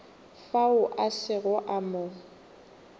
fao a sego a mo